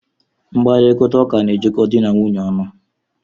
Mkparita ụka na ejiko dị na nwaanyị ọnụ.